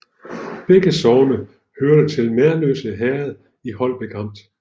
Begge sogne hørte til Merløse Herred i Holbæk Amt